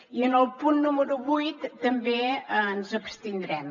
i en el punt número vuit també ens abstindrem